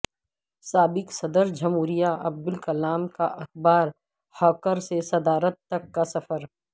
سابق صدرجمہوریہ عبدالکلام کااخبار ہاکر سے صدارت تک کا سفر